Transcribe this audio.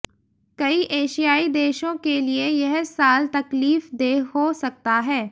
कई एशियाई देशों के लिए यह साल तकलीफदेह हो सकता है